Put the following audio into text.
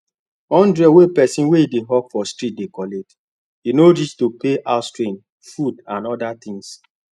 hundred wey person wey dey hawk for street dey collect no reach to pay houserent food and other things